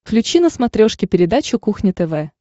включи на смотрешке передачу кухня тв